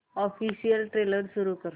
official trailer सुरू कर